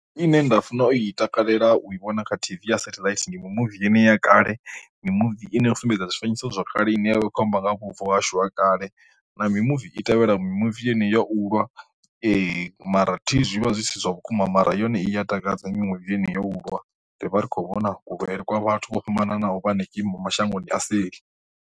Ine nda funa i takalela u i vhona kha T_V ya satheḽaithi ndi mimuvi ine ya kale mimuvi ine ya sumbedza zwifanyiso zwa kale ine yavha ikho amba nga ha vhubvo hashu ha kale, na mimuvi i tevhela mimuvi ine ya u lwa mara thihi zwi vha zwi si zwa vhukuma mara yone i ya takadza mimuvi ine yo u lwa ri vha ri kho vhona kuhulele kwa vhathu vho fhambananaho vha henengeyi mashangoni a seli.